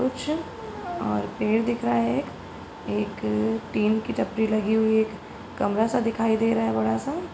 कुछ और पेड़ दिख रहा है एक। एक टीन की टपरी लगी हुई है एक कमरा सा दिखाई दे रहा है बड़ा सा।